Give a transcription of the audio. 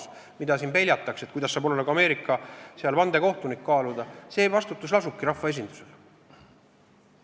See, mida siin peljatakse, et kuidas saab nagu Ameerika vandekohtunik kaaluda, see vastutus lasubki rahvaesindusel.